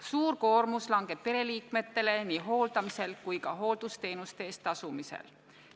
Suur koormus langeb pereliikmetele nii hooldamisel kui ka hooldusteenuste eest tasumisel.